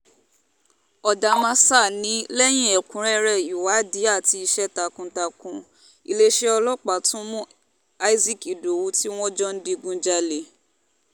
ọ̀dàmásà ni lẹ́yìn ẹ̀kúnrẹ́rẹ́ ìwádìí àti iṣẹ́ takuntakun iléeṣẹ́ ọlọ́pàá tún mú isaac ìdòwú tí wọ́n jọ ń digunjalè